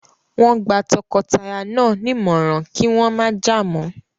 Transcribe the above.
Wọ́n gba tọkọtaya náà nímọ̀ràn kí wọ́n má jà mọ́.